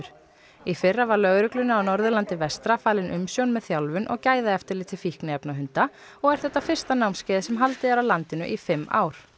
í fyrra var lögreglunni á Norðurlandi vestra falin umsjón með þjálfun og gæðaeftirliti fíkniefnahunda og er þetta fyrsta námskeiðið sem haldið er á landinu í fimm ár